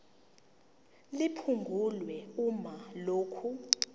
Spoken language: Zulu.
liphungulwe uma lokhu